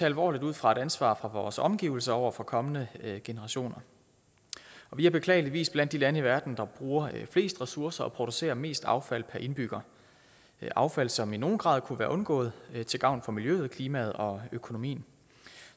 alvorligt ud fra et ansvar for vores omgivelser over for kommende generationer vi er beklageligvis blandt de lande i verden der bruger flest ressourcer og producerer mest affald per indbygger affald som i nogen grad kunne være undgået til gavn for miljøet klimaet og økonomien